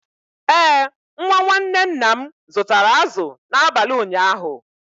Ee, nwa nwanne nna m zụtara azụ̀ n’abalị ụnyaahụ.